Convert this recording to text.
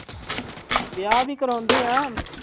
ਵਿਆਹ ਵੀ ਕਰਵਾਉਂਦੇ ਹਾਂ।